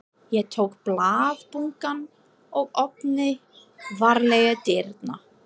Ég tók blaðabunkann og opnaði varlega dyrnar.